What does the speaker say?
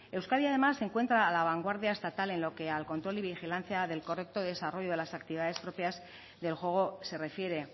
euskadi además se encuentra a la vanguardia estatal en lo que al control y vigilancia del correcto desarrollo de las actividades propias del juego se refiere